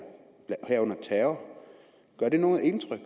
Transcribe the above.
herunder terror gør det noget indtryk